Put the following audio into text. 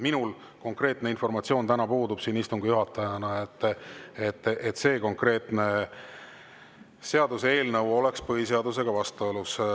Minul siin istungi juhatajana puudub informatsioon, et see konkreetne seaduseelnõu oleks põhiseadusega vastuolus.